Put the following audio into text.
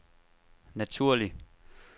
naturlig